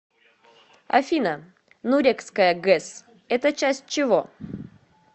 афина нурекская гэс это часть чего